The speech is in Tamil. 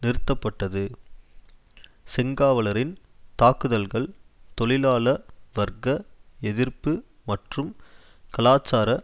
நிறுத்தப்பட்டது செங்காவலரின் தாக்குதல்கள் தொழிலாள வர்க்க எதிர்ப்பு மற்றும் கலாச்சார